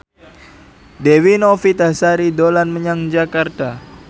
Dewi Novitasari dolan menyang Jakarta